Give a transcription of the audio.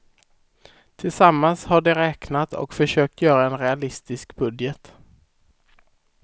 Tillsammans har de räknat och försökt göra en realistisk budget.